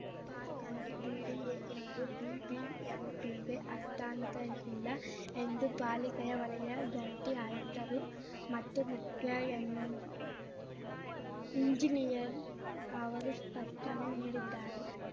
ಪಾರ್ಕ್ಅನ್ನು ಬಿಡಿಎಯವರು ಬಿಬಿಎಂಪಿಗೆ ಹಸ್ತಾಂತರಿಶಿಲ್ಲ ಎಂದು ಪಾಲಿಕೆಯ ವಲಯ ಜಂಟಿ ಆಯುಕ್ತರು ಮತ್ತು ಮುಖ್ಯ ಎಂಜಿ ಇಂಜಿನಿಯರ್‌ ಅವರು ಸ್ಪಷ್ಟನೆ ನೀಡಿದ್ದಾರೆ